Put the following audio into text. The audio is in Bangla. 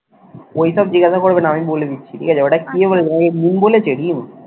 ওইটা জিজ্ঞাসা করবে না আমি বলে দিচ্ছি ঠিক আছে? ওইটা কি বলেছে